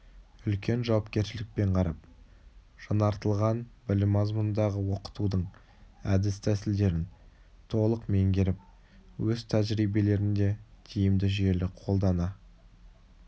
үлкен жауапкершілікпен қарап жаңартылған білім мазмұнындағы оқытудың әдіс-тәсілдерін толық меңгеріп өз тәжірибелерінде тиімді жүйелі қолдана